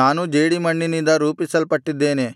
ನಾನೂ ಜೇಡಿಮಣ್ಣಿನಿಂದ ರೂಪಿಸಲ್ಪಟ್ಟಿದ್ದೇನೆ